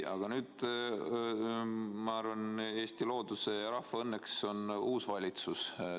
Aga nüüd on, ma arvan, Eesti looduse ja rahva õnneks uus valitsus.